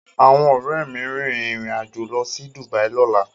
Awọn Òré mí rin ìrìn Ajọ ló sì Dubai lọla